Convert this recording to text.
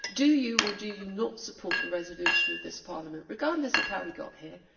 Do you or do you not support the resolution of this Parliament, regardless of how we got here?